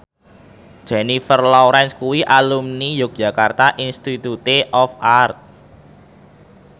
Jennifer Lawrence kuwi alumni Yogyakarta Institute of Art